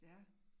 Ja